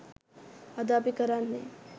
අද අපි කරන්නේ